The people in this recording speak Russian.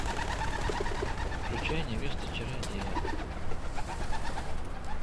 включай невеста чародея